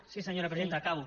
sí senyora presidenta acabo